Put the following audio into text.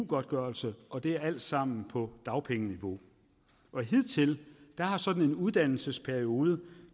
godtgørelse og det er alt sammen på dagpengeniveau hidtil har sådan en uddannelsesperiode